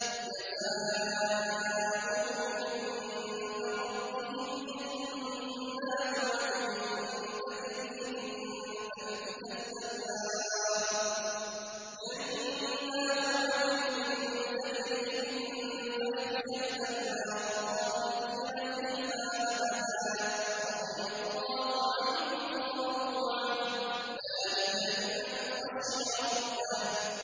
جَزَاؤُهُمْ عِندَ رَبِّهِمْ جَنَّاتُ عَدْنٍ تَجْرِي مِن تَحْتِهَا الْأَنْهَارُ خَالِدِينَ فِيهَا أَبَدًا ۖ رَّضِيَ اللَّهُ عَنْهُمْ وَرَضُوا عَنْهُ ۚ ذَٰلِكَ لِمَنْ خَشِيَ رَبَّهُ